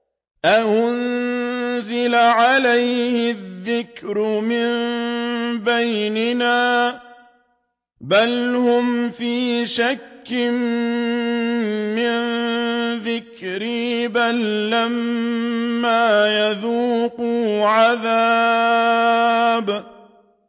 أَأُنزِلَ عَلَيْهِ الذِّكْرُ مِن بَيْنِنَا ۚ بَلْ هُمْ فِي شَكٍّ مِّن ذِكْرِي ۖ بَل لَّمَّا يَذُوقُوا عَذَابِ